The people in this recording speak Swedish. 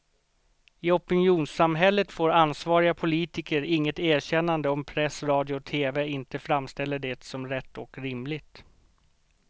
I opinionssamhället får ansvariga politiker inget erkännande om press, radio och tv inte framställer det som rätt och rimligt.